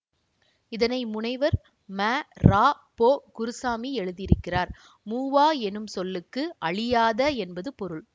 இதனை முனைவர் ம ரா போ குருசாமி எழுதியிருக்கிறார் மூவா என்னும் சொல்லுக்கு அழியாத என்பது பொருள்